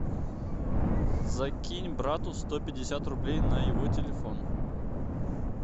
закинь брату сто пятьдесят рублей на его телефон